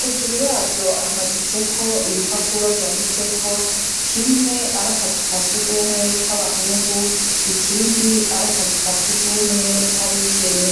hejuru yavyo hamaditseko ibipapuro vyanditseko, kimwe ari akazu ka surwumwe k'abahungu ikindi ari akazu ka surwumwe k'abigeme.